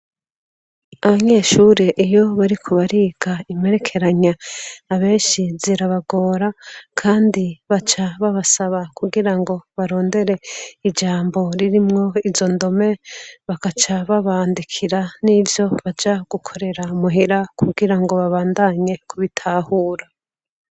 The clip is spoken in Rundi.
Abanyeshuri iyo bari kubariga imperekeranya abenshi zirabagora, kandi baca babasaba kugira ngo barondere ijambo ririmwo izo ndome bakaca babandikira n'ivyo baja gukorera muhira kugira ngo babandanye kubitahura.